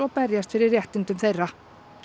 berjast fyrir réttindum þeirra